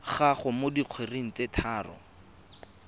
gago mo dikgweding tse tharo